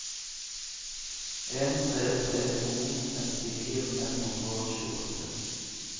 en tre tre to femtini fem hundre og tjueåtte